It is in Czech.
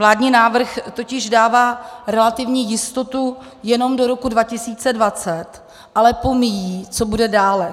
Vládní návrh totiž dává relativní jistotu jenom do roku 2020, ale pomíjí, co bude dále.